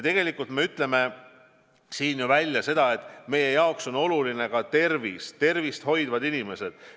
Ja ma ütlesin välja sedagi, et meie jaoks on oluline tervis, meie jaoks on olulised tervist hoidvad inimesed.